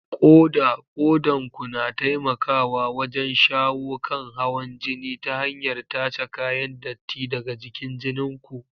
Koda: Kodan ku na taimakawa wajen shawo kan hawan jini ta hanyar tace kayan datti daga cikin jinin ku.